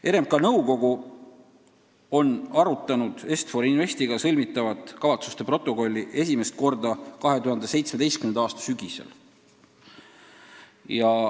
RMK nõukogu arutas Est-For Investiga sõlmitavat kavatsuste protokolli esimest korda 2017. aasta sügisel.